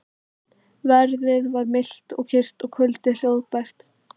Veðrið var milt og kyrrt og kvöldið hljóðbært.